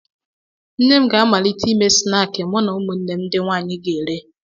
Nne m ga-amalite ịme snaakị mụ na ụmụnne m ndị nwanyị ga-ere